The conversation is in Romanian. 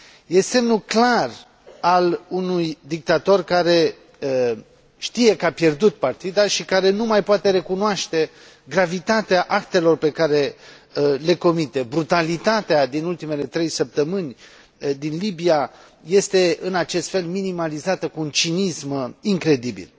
Este semnul clar al unui dictator care știe că a pierdut partida și care nu mai poate recunoaște gravitatea actelor pe care le comite. Brutalitatea din ultimele trei săptămâni din Libia este, în acest fel, minimalizată cu un cinism incredibil.